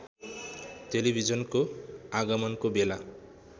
टेलिभजनको आगमनको बेला